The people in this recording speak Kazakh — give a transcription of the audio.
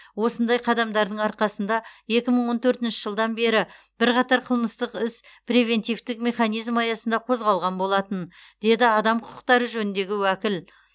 осындай қадамдардың арқасында екі мың он төртінші жылдан бері бірқатар қылмыстық іс превентивтік механизм аясында қозғалған болатын деді адам құқықтары жөніндегі уәкіл